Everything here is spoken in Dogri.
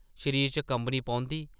‘‘शरीर च कंबनी पौंदी ।’’